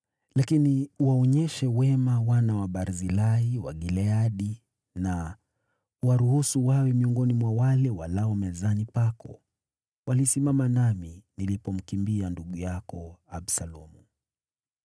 “Lakini uwaonyeshe wema wana wa Barzilai wa Gileadi na uwaruhusu wawe miongoni mwa wale walao mezani pako. Walisimama nami nilipomkimbia ndugu yako Absalomu.